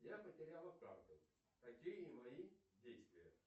я потеряла карту какие мои действия